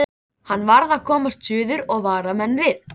Hann varð að komast suður og vara menn við.